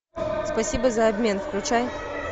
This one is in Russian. спасибо за обмен включай